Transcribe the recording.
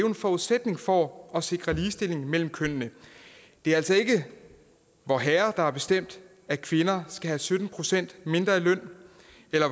en forudsætning for at sikre ligestilling mellem kønnene det er altså ikke vorherre der har bestemt at kvinder skal have sytten procent mindre i løn